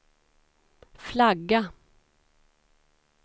flagga